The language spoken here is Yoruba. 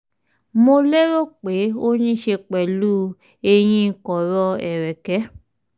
mo lérò pé ó ní í ṣe pẹ̀lú eyín kọ̀rọ̀ ẹ̀rẹ̀kẹ́